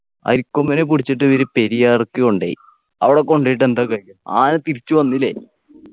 അരിക്കൊമ്പനെ പിടിച്ചിട്ട് ഈടി പെരിയാർക്ക് കൊണ്ടോയി അവിടെ കൊണ്ട് പോയിട്ട് എന്താ കാര്യം ആന തിരിച്ചുവന്നില്ലേ